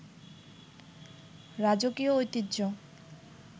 রাজকীয় ঐতিহ্য